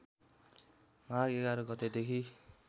माघ ११ गतेदेखि